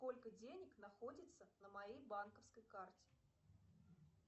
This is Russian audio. сколько денег находится на моей банковской карте